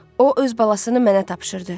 O öz balasını mənə tapşırdı.